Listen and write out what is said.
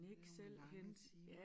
Det nogen lange timer